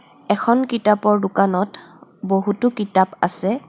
এখন কিতাপৰ দোকানত বহুতো কিতাপ আছে.